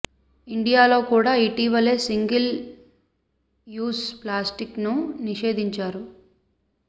India లో కూడా ఇటీవలే సింగల్ యూస్ ప్లాస్టిక్ ను నిషేధించారు